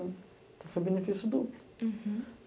Então foi benefício duplo.